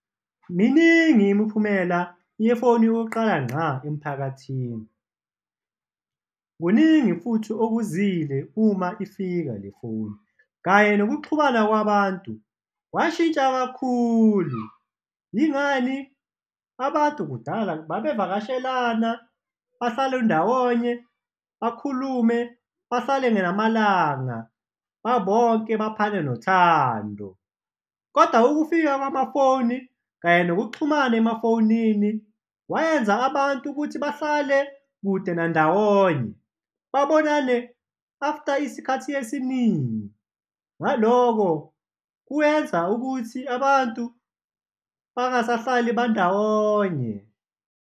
Miningi imiphumela yefoni yokuqala ngqa emphakathini, kuningi futhi okuzile uma ifika le foni kanye nokuxhumana kwabantu kwashintsha kakhulu, yingani? Abantu kudala babevakashelana bahlale ndawonye, bakhulume, bahlale namalanga babonke baphane nothando kodwa ukufika kwamafoni kanye nokuxhumana emafonini, wayenza abantu ukuthi bahlale kude na ndawonye, babonane after isikhathi esiningi, ngaloko kuyenza ukuthi abantu bangasahlali bandawonye.